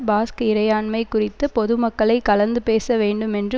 Basque இறையாண்மை குறித்து பொதுமக்களை கலந்து பேச வேண்டும் என்று